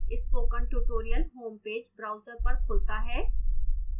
spoken tutorial homepage browser पर खुलता है